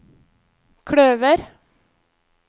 kløver